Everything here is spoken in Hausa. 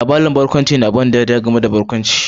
Labarin barkwanci ne na ban ɗariya gami da barkwanci